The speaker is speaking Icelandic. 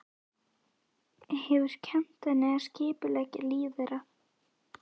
Hefur kennt henni að skipuleggja líf þeirra.